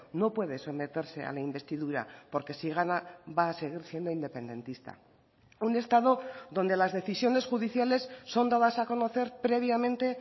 no puede someterse a la investidura porque si gana va a seguir siendo independentista un estado donde las decisiones judiciales son dadas a conocer previamente